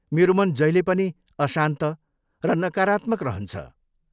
मेरो मन जहिले पनि अशान्त र नकारात्मक रहन्छ।